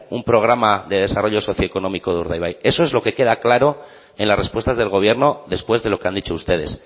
un programa de desarrollo socioeconómico de urdaibai eso es lo que queda claro en las respuestas del gobierno después de lo que han dicho ustedes